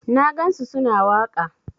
Na gansu su na waƙa.